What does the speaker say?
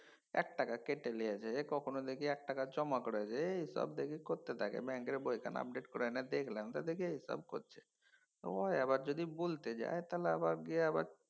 একটা টাকা কেটে লিয়েছে কখনও দেখি এক টাকা জমা করেছে এইসব দেখি করতে থাকে ব্যঙ্কের বইখান update করে নেয়দেখলাম তো দেখি এইসব করছে। হয় আবার যদি বলতে যাই আবার গিয়ে আবার